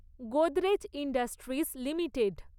Godrej industries limited